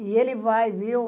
E ele vai, viu?